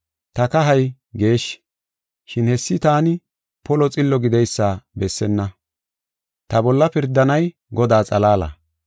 Ta kahay geeshshi, shin hessi taani polo xillo gideysa bessenna. Ta bolla pirdanay Godaa xalaala.